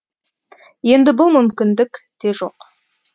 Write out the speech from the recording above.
енді бұл мүмкіндік те жоқ